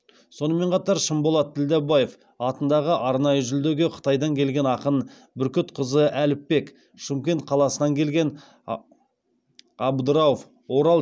сонымен қатар шынболат ділдебаев атындағы арнайы жүлдеге қытайдан келген ақын бүркітқазы әліпбек шымкент қаласынан келген абдырауф орал